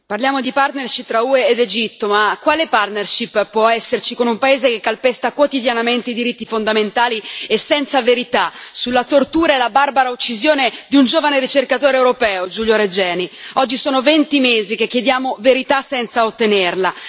Signor Presidente, onorevoli colleghi, parliamo di partnership tra UE ed Egitto ma quale partnership può esserci con un paese che calpesta quotidianamente i diritti fondamentali e senza verità sulla tortura e la barbara uccisione di un giovane ricercatore europeo, Giulio Regeni oggi sono 20 mesi che chiediamo verità senza ottenerla.